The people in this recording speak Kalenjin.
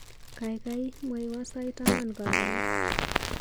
Kaikai mwawa sait angwan karon.